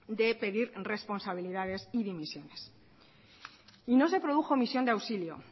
de pedir responsabilidades y dimisiones y no se produjo omisión de auxilio